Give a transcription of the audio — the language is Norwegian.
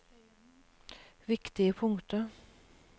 viktige punkter